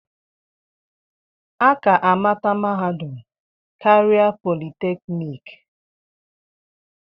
A ka-amata mahadum karịa politeknik.